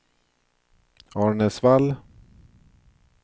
Arnäsvall